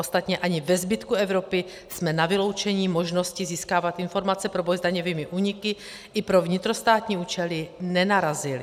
Ostatně ani ve zbytku Evropy jsme na vyloučení možnosti získávat informace pro boj s daňovými úniky i pro vnitrostátní účely nenarazili.